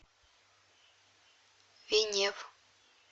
венев